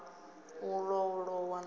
u ḓo lowa huno a